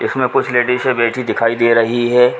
इसमे कुछ लेडीज़े बैठी दिखाई दे रही है।